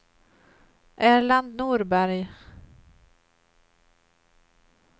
Erland Norberg